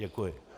Děkuji.